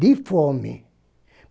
De fome.